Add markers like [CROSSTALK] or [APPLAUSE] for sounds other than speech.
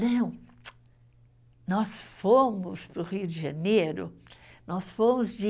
Não, [CLICKS TONGUE] nós fomos para o Rio de Janeiro, nós fomos de